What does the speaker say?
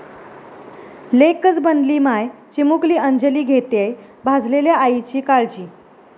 लेकच बनली माय, चिमुकली अंजली घेतेय भाजलेल्या आईची काळजी